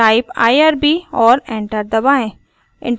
type irb और enter दबाएँ